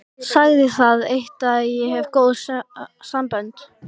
Sagði það eitt að ég hefði góð sambönd.